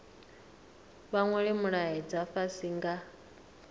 vha nwale mulaedza fhasi nga